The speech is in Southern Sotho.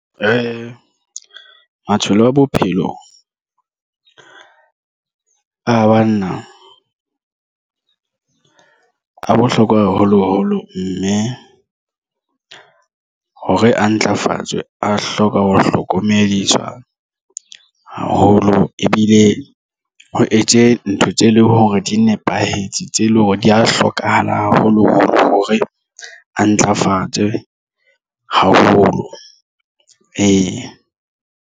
Matsholo a bophelo a banna a bohlokwa haholoholo mme hore a ntlafatswe a hloka ho hlokomediswa haholo ebile o etse ntho tse leng hore di nepahetse tse leng hore di ya hlokahala haholo hore a ntlafatswe haholo.